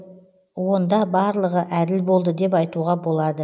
онда барлығы әділ болды деп айтуға болады